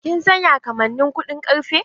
Kin san ya kamannin kuɗin karfe?